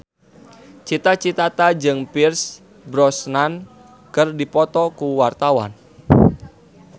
Cita Citata jeung Pierce Brosnan keur dipoto ku wartawan